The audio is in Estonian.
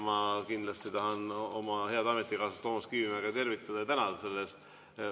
Ma kindlasti tahan oma head ametikaaslast Toomas Kivimägi tervitada ja tänada selle eest.